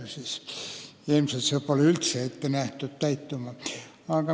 Siiski on, jah.